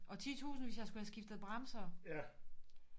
Og 10000 hvis jeg skulle have skiftet bremser